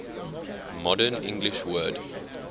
modern english word